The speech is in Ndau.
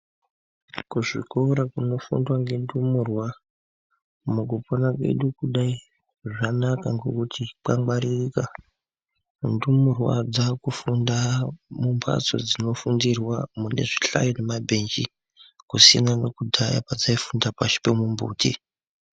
Kuzvikora kunofundwa ngendumurwa mukupona kwedu kudai zvanaka, ngokuti kwangwaririka, ndumurwa dzaakufunda mumphatso dzinofundirwa mune zvihlayo nemabhenji ,kusiyana nekudhaya kwadzaifunda pashi pemimbiti.